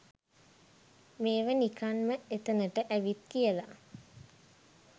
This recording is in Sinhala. මේව නිකන් ම එතනට ඇවිත් කියල